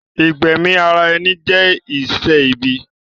Ìgbẹ̀mi ara ẹni jẹ́ iṣẹ́ ibi